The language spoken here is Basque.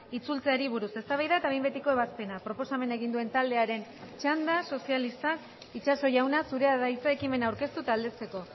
itzultzeari buruz eztabaida eta behin betiko ebazpena proposamena egin duen taldearen txanda sozialistak itxaso jauna zurea da hitza ekimena aurkeztu eta aldezteko